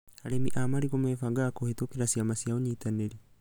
Arĩmi a marigũ mebangaga kũhĩtũkĩra ciama cia ũnyitanĩri